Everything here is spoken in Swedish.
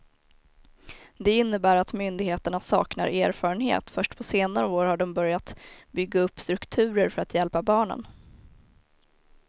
Det innebär att myndigheterna saknar erfarenhet, först på senare år har de börjat bygga upp strukturer för att hjälpa barnen.